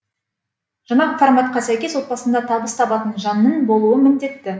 жаңа форматқа сәйкес отбасында табыс табатын жанның болуы міндетті